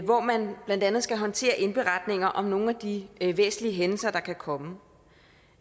hvor man blandt andet skal håndtere indberetninger om nogle af de væsentlige hændelser der kan komme